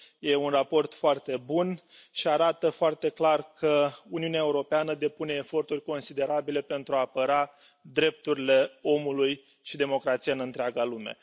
Este un raport foarte bun și arată foarte clar că Uniunea Europeană depune eforturi considerabile pentru a apăra drepturile omului și democrația în întreaga lume.